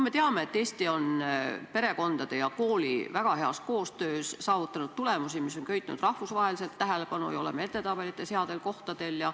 Me teame, et Eesti on perekondade ja koolide väga heas koostöös saavutanud tulemusi, mis on rahvusvaheliselt tähelepanu köitnud, me oleme edetabelites headel kohtadel.